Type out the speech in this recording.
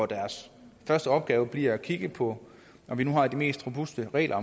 deres første opgave bliver at kigge på om vi nu har de mest robuste regler